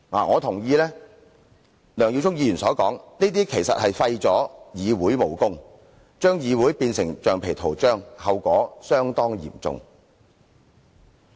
我同意梁耀忠議員所說，這做法是廢掉議會的武功，把議會變成橡皮圖章，後果相當嚴重。